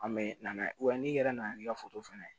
An bɛ na n'a ye wa n'i yɛrɛ nana n'i ka foto fɛnɛ ye